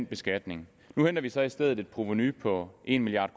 beskatningen nu henter vi så i stedet et provenu på en milliard